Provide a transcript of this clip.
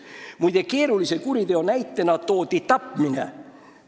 Muide, komisjonis toodi keerulise kuriteo näitena tapmine.